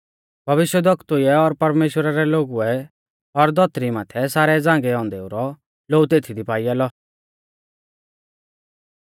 भविष्यवक्तुऐ और परमेश्‍वरा रै लोगुऐ और धौतरी माथै सारै झ़ांगै औन्देऊ रौ लोऊ तेथी दी पाईया लौ